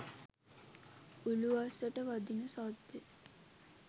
උළුවස්සට වදින සද්දෙ